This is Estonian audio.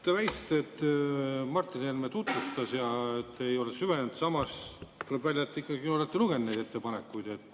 Te väitsite, et Martin Helme tutvustas, aga te ei ole neisse, samas tuleb välja, et te ikkagi olete lugenud neid ettepanekuid.